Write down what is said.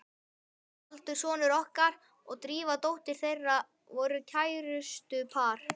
Baldur sonur okkar og Drífa dóttir þeirra voru kærustupar.